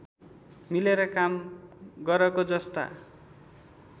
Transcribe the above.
मिलेर काम गरको जस्ता